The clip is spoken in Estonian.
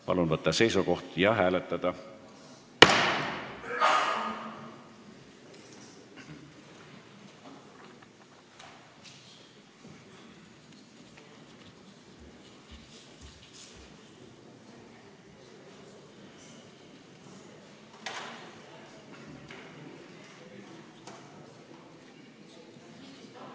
Palun võtta seisukoht ja hääletada!